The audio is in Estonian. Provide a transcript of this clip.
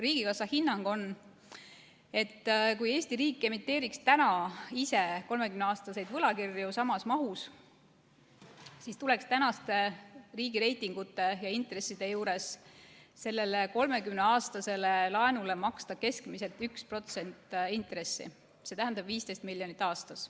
Riigikassa hinnang on selline: kui Eesti riik emiteeriks ise 30-aastaseid võlakirju samas mahus, siis tuleks praeguste riigireitingute ja intresside juures selle 30-aastase laenu kohta maksta keskmiselt 1% intressi, st 15 miljonit aastas.